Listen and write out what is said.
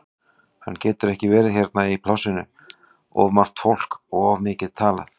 Hann getur ekki verið hérna í plássinu, of margt fólk og of mikið talað.